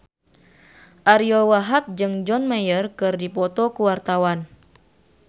Ariyo Wahab jeung John Mayer keur dipoto ku wartawan